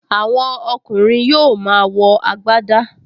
Àwọn ọkùnrin yóò máa wọ agbadá